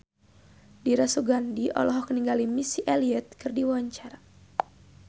Dira Sugandi olohok ningali Missy Elliott keur diwawancara